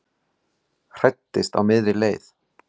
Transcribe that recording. Hræddist á miðri leið